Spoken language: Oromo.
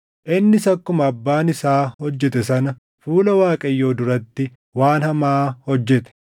Innis akkuma abbaan isaa hojjete sana fuula Waaqayyoo duratti waan hamaa hojjete.